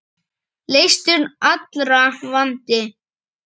Leystur allra vandi.